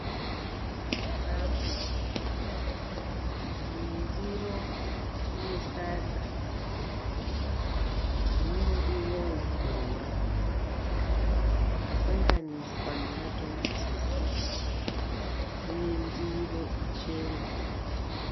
Chikafu, iyi ndiro ine sadza nemuriwo wemuboora wakasanganiswa namatomatisi, uye ndiro ichena.